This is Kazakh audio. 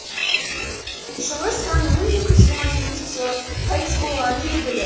шыңғыс ханның мың екі жүз жиырма жетінші жылы қайтыс болғаны белгілі